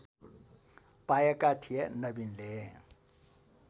पाएका थिए नबिनले